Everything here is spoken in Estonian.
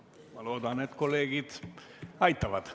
Ma loodan, et kolleegid aitavad.